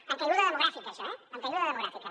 en caiguda demogràfica això eh en caiguda demogràfica